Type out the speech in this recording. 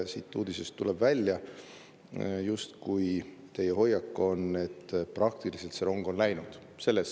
Siit uudisest tuleb välja, justkui teie hoiak oleks, et see rong on praktiliselt läinud.